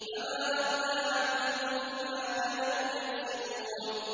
فَمَا أَغْنَىٰ عَنْهُم مَّا كَانُوا يَكْسِبُونَ